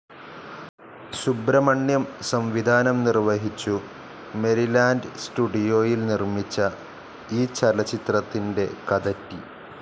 സുബ്രഹ്മണ്യം സംവിധാനം നിർവഹിച്ചു മെരിലാൻഡ് സ്റ്റുഡിയോയിൽ നിർമിച്ച ഈ ചലച്ചിത്രത്തിൻ്റെ കഥറ്റി.